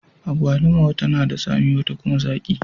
Agwalima wata na da tsami, wata kuma zaki.